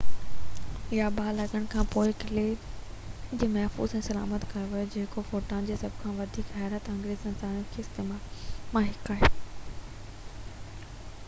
باهه لڳڻ کان پوءِ قلعي کي محفوظ ۽ سلامت ڪيو ويو جيڪو ڀوٽان جي سڀ کان وڌيڪ حيرت انگيز نظارن مان هڪ آهي